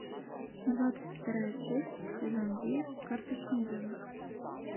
двадцать вторая часть сезон девять карточный домик